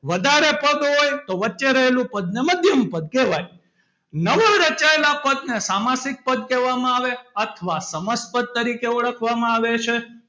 વધારે પદ હોય તો વચ્ચે રહેલું પદને મધ્યમપદ કહેવાય નવાં રચાયેલાં પદને સામાસિક પદ કહેવામાં આવે છે અથવા સમાંસ પદ તરીકે ઓળખવામાં આવે છે.